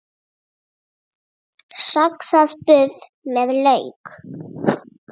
Saxað buff með lauk